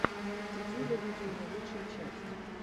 дидюля дидюля лучшая часть